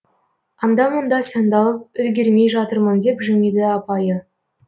анда мында сандалып үлгермей жатырмын деп жымиды апайы